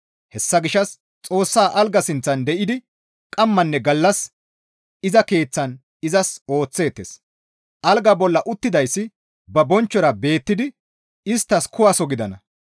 Hessa gishshas Xoossa algaa sinththan de7idi qammanne gallas iza keeththan izas ooththeettes; algaa bolla uttidayssi ba bonchchora beettidi isttas kuwaso gidana.